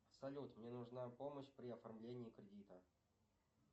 салют мне нужна помощь при оформлении кредита